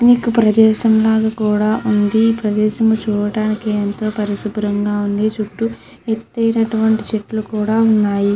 అనేక ప్రదేశం లాగా కూడా ఉంది. ఈ ప్రదేశం చూడటానికి ఎంతో పరిశుభ్రంగా ఉంది. చుట్టు ఎతైనటువంటి చెట్లు కూడా ఉన్నాయి.